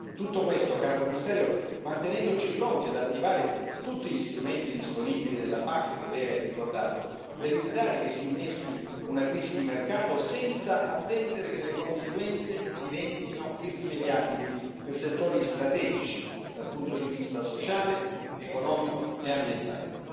Tutto questo, caro Commissario, mantenendoci pronti ad attivare tutti gli strumenti disponibili nella PAC, che lei ha ricordato, per evitare che si inneschi una crisi di mercato, senza attendere che le conseguenze diventino irrimediabili per settori strategici dal punto di vista sociale, economico e ambientale.